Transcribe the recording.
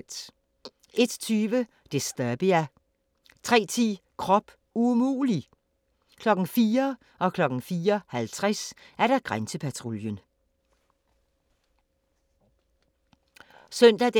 01:20: Disturbia 03:10: Krop umulig! 04:00: Grænsepatruljen 04:50: Grænsepatruljen